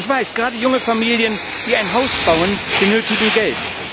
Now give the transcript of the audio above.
Ich weiß, gerade junge Familien, die ein Haus bauen, benötigen Geld.